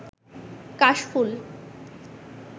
কাশফুল